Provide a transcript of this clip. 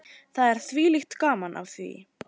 Það er þvílíkt gaman af því.